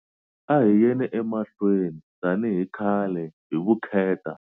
A hi yeni emahlweni, tani hi khale, hi vukheta.